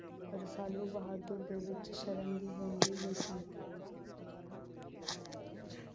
ਰਸਾਲੂ ਬਹਾਦੁਰ ਦੇ ਵਿੱਚ ਸ਼ਰਨ ਦੀ ਵੀ ਸੀ।